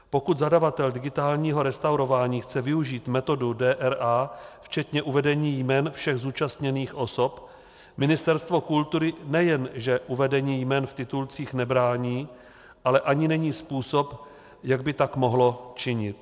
Pokud zadavatel digitálního restaurování chce využít metodu DRA včetně uvedení jmen všech zúčastněných osob, Ministerstvo kultury nejenže uvedení jmen v titulcích nebrání, ale ani není způsob, jak by tak mohlo činit.